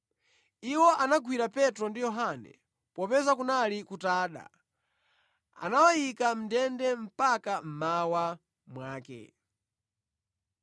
Iwo anagwira Petro ndi Yohane, popeza kunali kutada, anawayika mʼndende mpaka mmawa mwake.